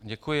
Děkuji.